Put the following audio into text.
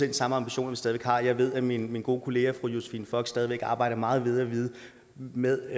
de samme ambitioner vi stadig væk har jeg ved at min min gode kollega fru josephine fock stadig væk arbejder meget med